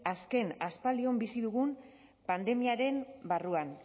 azken aspaldion bizi dugun pandemiaren barruan